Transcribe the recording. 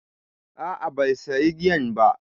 A'a bai sayi giyan ba.